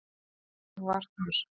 Ég var þar